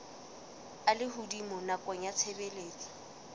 a lehodimo nakong ya tshebediso